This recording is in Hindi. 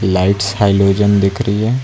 लाइट्स हैलोजन दिख रही है।